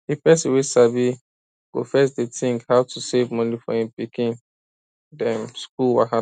di person wey sabi go first dey think how to save moni for him pikin dem school wahala